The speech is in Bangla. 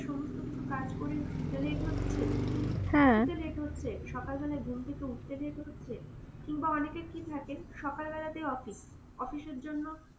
সমস্ত কিছু কাজ করে শুতে late হচ্ছে, শুতে late হচ্ছে, সকালবেলা ঘুম থেকে উঠতে late হচ্ছে. কিংবা অনেকের কি থাকে সকালবেলাতে office, office এর জন্য